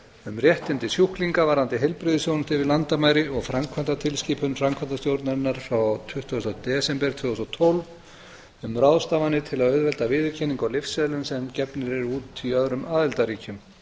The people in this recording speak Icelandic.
um réttindi sjúklinga varðandi heilbrigðisþjónustu yfir landamæri og framkvæmdartilskipun framkvæmdastjórnarinnar frá tuttugustu desember tvö þúsund og tólf um ráðstafanir til að auðvelda viðurkenningu á lyfseðlum sem gefnir eru út í öðrum aðildarríkjum